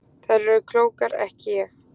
Þær eru klókar ekki ég.